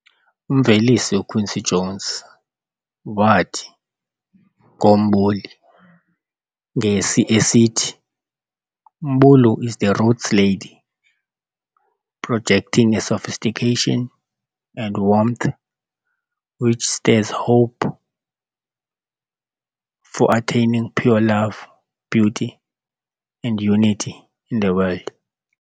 Umvelisi uQuincy Jones wathi ngo Mbuli ngesi esithi "Mbulu is the roots lady, projecting a sophistication and warmth which stirs hope for attaining pure love, beauty, and unity in the world."